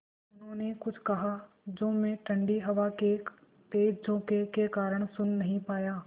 उन्होंने कुछ कहा जो मैं ठण्डी हवा के तेज़ झोंके के कारण सुन नहीं पाया